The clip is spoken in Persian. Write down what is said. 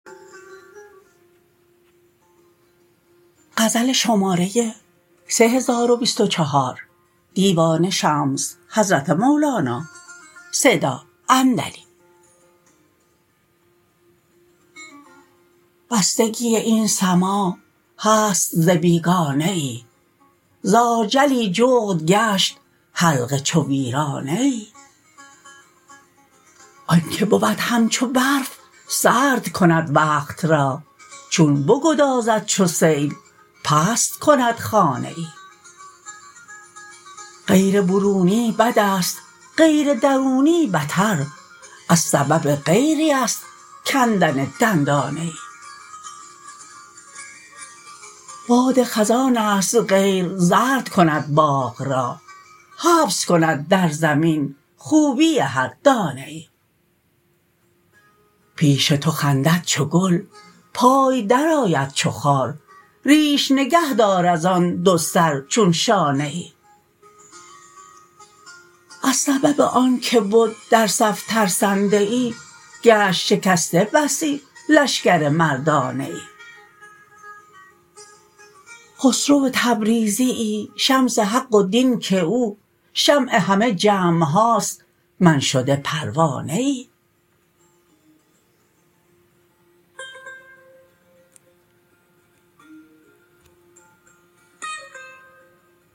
بستگی این سماع هست ز بیگانه ای ز ارچلی جغد گشت حلقه چو ویرانه ای آنک بود همچو برف سرد کند وقت را چون بگدازد چو سیل پست کند خانه ای غیر برونی بدست غیر درونی بتر از سبب غیریست کندن دندانه ای باد خزانست غیر زرد کند باغ را حبس کند در زمین خوبی هر دانه ای پیش تو خندد چو گل پای درآید چو خار ریش نگه دار از آن دوسر چون شانه ای از سبب آنک بد در صف ترسنده ای گشت شکسته بسی لشکر مردانه ای خسرو تبریزیی شمس حق و دین که او شمع همه جمع هاست من شده پروانه ای